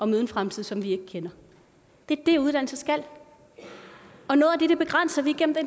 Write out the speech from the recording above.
møde en fremtid som vi ikke kender det er det uddannelse skal og noget af det begrænser vi gennem det